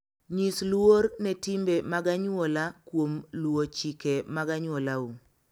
Nyis luor ne timbe mag anyuola kuom luwo chike mag anyuolau.